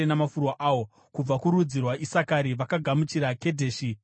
kubva kurudzi rwaIsakari vakagamuchira Kedheshi neDhabherati,